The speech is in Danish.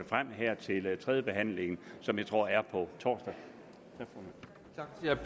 frem her til tredjebehandlingen som jeg tror er på torsdag